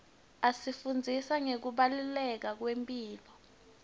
asifundzisa ngekubaluleka kwemphilo